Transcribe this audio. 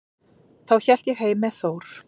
Þá hélt ég heim með Þór.